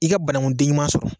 I ka banankunden ɲuman sɔrɔ.